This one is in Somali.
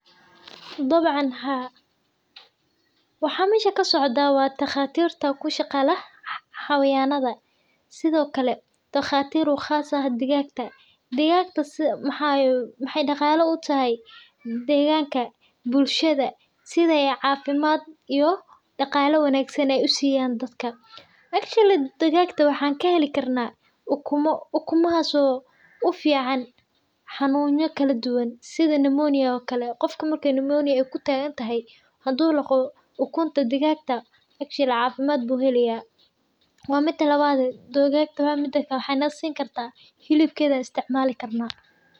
Dabcan haa, waxa mesha kasocda wa daqatirta kushagalah xawayanada, sidhokale, daqatir u qaas ah digagtah, digagta maxay daqalata utahay deqanka, bulshad sidhay cafimaat iyo daqalaa wanagsan usiyan dadka actually digagta waxan kahelikarna ukumo, ukumahas oo ufican xanuny kaladuwan, sidhii limonia okalle, gofka marki ay lamoniya ay kutagantaxay xadu laqo ukunta digagta, actually cafimad bu helaya, wa mida lawadee digagta maxay dadka sinkarta hilibkeda an isticmalkarna.